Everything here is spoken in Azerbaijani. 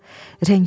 Rəngi qaçıb.